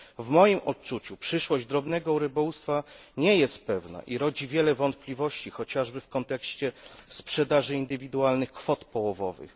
W moim odczuciu przyszłość drobnego rybołówstwa nie jest pewna i rodzi wiele wątpliwości, chociażby w kontekście sprzedaży indywidualnych kwot połowowych.